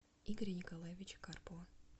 игоря николаевича карпова